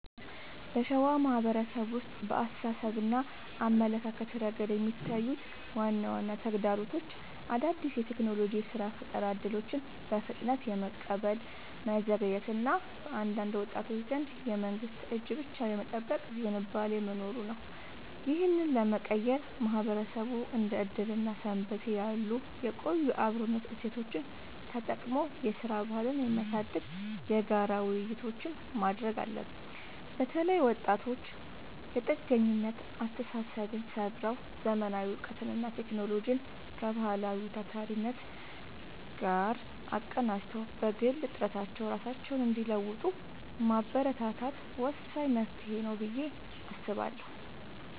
በሸዋ ማህበረሰብ ውስጥ በአስተሳሰብና አመለካከት ረገድ የሚታዩት ዋና ዋና ተግዳሮቶች አዳዲስ የቴክኖሎጂና የሥራ ፈጠራ እድሎችን በፍጥነት የመቀበል መዘግየት እና በአንዳንድ ወጣቶች ዘንድ የመንግስትን እጅ ብቻ የመጠበቅ ዝንባሌ መኖሩ ነው። ይህንን ለመቀየር ማህበረሰቡ እንደ ዕድርና ሰንበቴ ያሉ የቆዩ የአብሮነት እሴቶቹን ተጠቅሞ የሥራ ባህልን የሚያሳድጉ የጋራ ውይይቶችን ማድረግ አለበት። በተለይ ወጣቶች የጥገኝነት አስተሳሰብን ሰብረው: ዘመናዊ እውቀትንና ቴክኖሎጂን ከባህላዊው ታታሪነት ጋር አቀናጅተው በግል ጥረታቸው ራሳቸውን እንዲለውጡ ማበረታታት ወሳኝ መፍትሄ ነው ብዬ አስባለሁ።